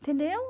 Entendeu?